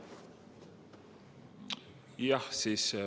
Jah.